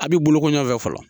A bɛ boloko ɲɔgɔnfɛ fɔlɔ.